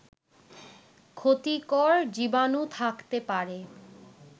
ক্ষতিকর জীবাণু থাকতে পারে